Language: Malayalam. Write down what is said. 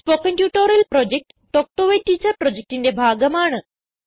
spoken tutorial project talk to a teacher പ്രൊജക്റ്റിന്റെ ഭാഗമാണ്